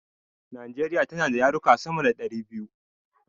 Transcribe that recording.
Nijeriya tana da yarurruka sama da ɗari biyu